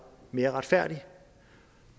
mere retfærdigt